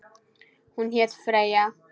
Hún hét Freyja.